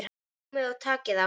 Komiði og takið þá!